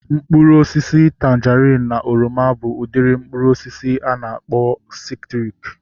Mkpụrụ osisi tanjerin na oroma bụ udiri mkpụrụ osisi a na-akpọ sitriki